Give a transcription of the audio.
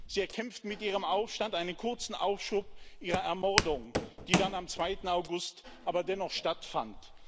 Sie erkämpften mit ihrem Aufstand einen kurzen Aufschub ihrer Ermordung, die dann am 2. August aber dennoch stattfand.